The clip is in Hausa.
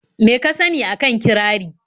Me ka sani a kan kirari?